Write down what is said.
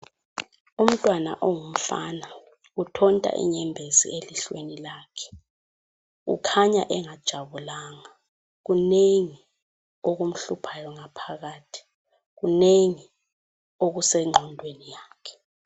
Umtwana ongumfana , uthonta inyembezi elihlweni lakhe. Ukhanya engajabulanga, kunengi okumhluphayo ngaphakathi, kunengi okusengqondweni yakhe .